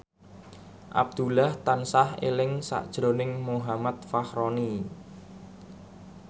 Abdullah tansah eling sakjroning Muhammad Fachroni